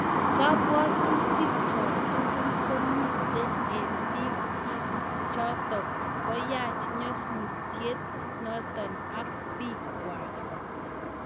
Kabwatutik chok tugul komite eng biik chotok konyach nyasutiet notok ak biik kwak.